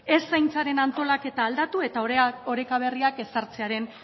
ez zaintzaren antolaketa aldatu eta oreka berriak ezartzearen